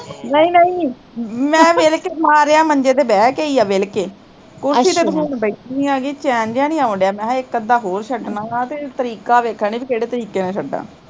ਨਹੀਂ ਨਹੀਂ, ਮੈਂ ਮਿਲਕੇ ਮਾਰਿਆ ਮੰਜੇ ਤੇ ਬਹਿ ਕੇ ਈ ਐ ਵਿਲਕੇ ਕੁਰਸੀ ਤੇ ਬੈਠੀ ਹੈਗੀ ਪਰ ਚੈਨ ਜਿਹਾ ਨੀ ਆਉਣ ਡਿਆ ਮੈਂ ਕਿਹਾ ਇੱਕ ਅੱਧਾ ਹੋਰ ਛੱਡਣਾ ਗਾ ਤੇ ਤਰੀਕਾ ਵੇਖਣ ਦਈ, ਵੀ ਕਿਹੜੇ ਤਰੀਕੇ ਨਾਲ਼ ਛੱਡਾ